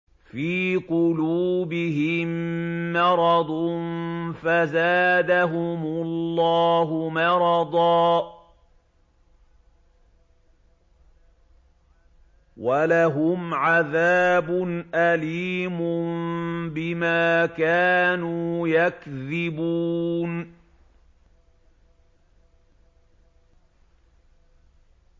فِي قُلُوبِهِم مَّرَضٌ فَزَادَهُمُ اللَّهُ مَرَضًا ۖ وَلَهُمْ عَذَابٌ أَلِيمٌ بِمَا كَانُوا يَكْذِبُونَ